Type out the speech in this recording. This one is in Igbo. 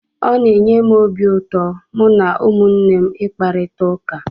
Ọ na-enye m obi ụtọ mụ na ụmụnne m ị kparita ụka.